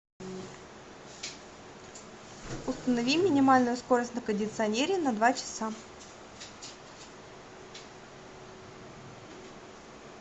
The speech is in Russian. установи минимальную скорость на кондиционере на два часа